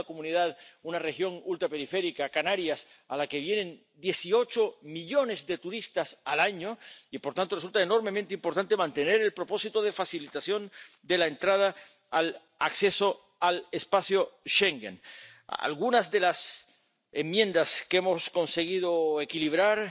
vengo de una comunidad, una región ultraperiférica —Canarias— a la que vienen 18 millones de turistas al año y, por tanto, resulta enormemente importante mantener el propósito de facilitación de la entrada, del acceso al espacio Schengen. Algunas de las enmiendas que hemos conseguido equilibrar